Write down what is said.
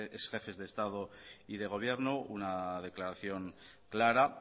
exjefes de estado y de gobierno una declaración clara